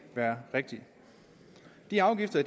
være rigtige de afgifter